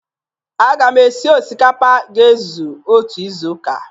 Aga m esi osikapa ga-ezu otu izuụka.